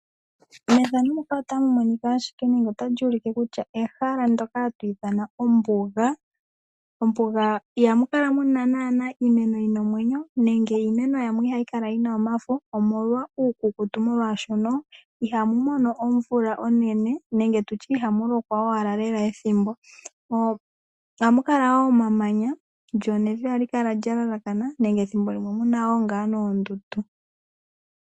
Ehala tali monika ohali ithanwa kutya olyo ombuga. Mombuga ihamu kala naanaa iimeno yi na omwenyo, nenge yi na omafo, omolwa uukukutu, mboka hawu etwa komuloka inagu gwana. Ohamu kala omamanya, evi lya lalakana, nethimbo limwe oto vulu okwaadha mo oondundu.